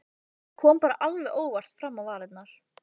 Það kom bara alveg óvart fram á varirnar.